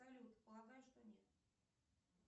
салют полагаю что нет